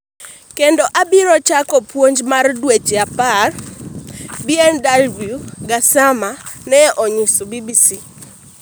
Kendo abiro chako puonj mar dweche apar," Bw Gassama ne onyiso BBC